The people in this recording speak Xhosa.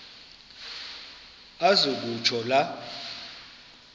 aze kutsho la